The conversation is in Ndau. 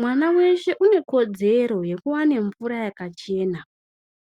Mwana weshe unekodzero yekuwane mvura yakachena